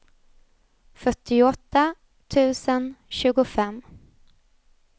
fyrtioåtta tusen tjugofem